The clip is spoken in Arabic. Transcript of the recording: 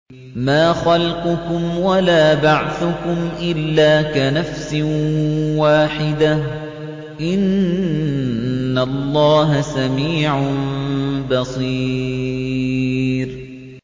مَّا خَلْقُكُمْ وَلَا بَعْثُكُمْ إِلَّا كَنَفْسٍ وَاحِدَةٍ ۗ إِنَّ اللَّهَ سَمِيعٌ بَصِيرٌ